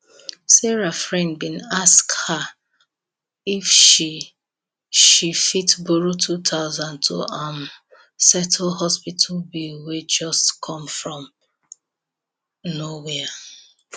sarah friend been ask her if she she fit borrow 2000 to um settle hospital bill wey just come from nowhere